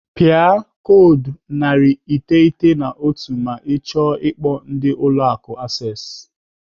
Pịa koodu narị iteghete na otu ma ọ chọọ ikpo ndị Ụlọ Akụ Access.